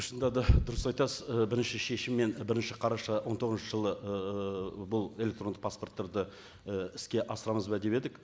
шыныда да дұрыс айтасыз ы бірінші шешіммен бірінші қараша он тоғызыншы жылы ыыы бұл электрондық паспорттарды і іске асырамыз ба деп едік